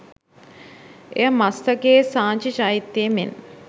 එය මස්ථකයේ සාංචි චෛත්‍යයේ මෙන්